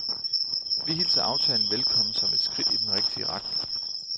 Vi hilser aftalen velkommen som et skridt i den rigtige retning.